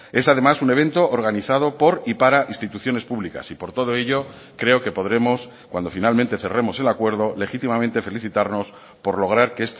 es además un evento organizado por y para instituciones públicas y por todo ello creo que podremos cuando finalmente cerremos el acuerdo legítimamente felicitarnos por lograr que